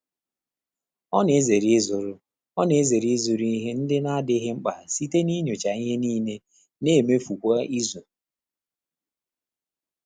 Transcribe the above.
Ọ́ nà-èzéré ị́zụ́rụ́ Ọ́ nà-èzéré ị́zụ́rụ́ íhé ndị́ nà-ádị́ghị́ mkpà sìté n’ínyóchá ìhè níílé nà-éméfù kwá ízù.